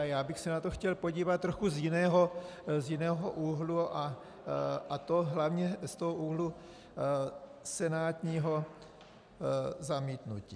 A já bych se na to chtěl podívat trochu z jiného úhlu, a to hlavně z toho úhlu senátního zamítnutí.